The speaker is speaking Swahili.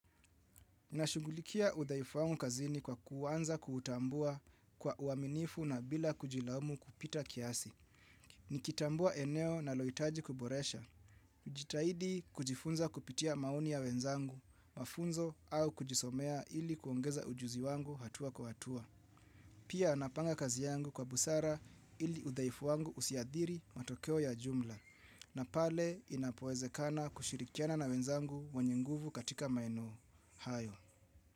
Nashughulikia udhaifu wangu kazini kwa kuanza kutambua kwa uaminifu na bila kujilaumu kupita kiasi. Nikitambua eneo nalohitaji kuboresha. Kujitahidi kujifunza kupitia maoni ya wenzangu, mafunzo au kujisomea ili kuongeza ujuzi wangu hatua kwa hatua. Pia napanga kazi yangu kwa busara ili udhaifu wangu usiadhiri matokeo ya jumla. Na pale inapoezekana kushirikiana na wenzangu wenye nguvu katika maeneo hayo.